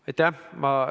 Aitäh!